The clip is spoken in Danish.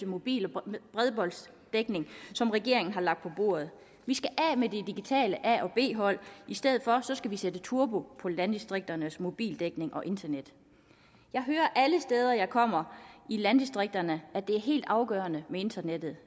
mobil og bredbåndsdækning som regeringen har lagt på bordet vi skal af med det digitale a og b hold og i stedet sætte turbo på landdistrikternes mobildækning og internet jeg hører alle de steder jeg kommer i landdistrikterne at det er helt afgørende med internettet